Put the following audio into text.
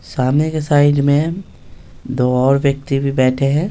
सामने के साइड में दो और व्यक्ति भी बैठे हैं।